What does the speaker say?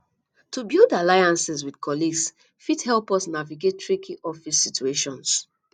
to build alliances with colleagues fit help us navigate tricky office situations